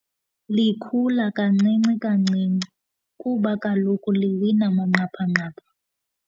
Likhula kancini kancinci kuba kaloku liwina manqaphanqapha.